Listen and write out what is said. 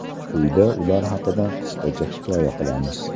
Quyida ular haqida qisqacha hikoya qilamiz.